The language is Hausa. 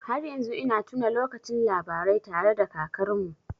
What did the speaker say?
Har yanzu ina tuna lokacin labarai tare da kakarmu.